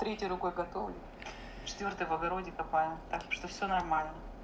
третей рукой готовлю четвёртой в огороде копаю так что все нормально